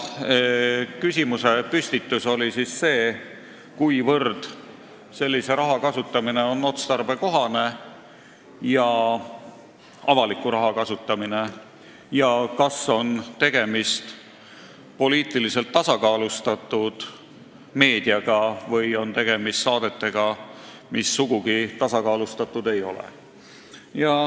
Küsimusepüstitus oli see, kuivõrd on selline avaliku raha kasutamine otstarbekohane ja kas tegemist on poliitiliselt tasakaalustatud meediaga või saadetega, mis sugugi tasakaalustatud ei ole.